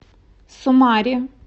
сумаре